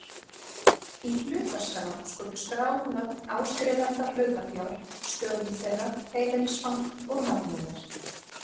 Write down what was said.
Í hlutaskrá skulu skráð nöfn áskrifenda hlutafjár, stöðu þeirra, heimilisfang og nafnnúmer.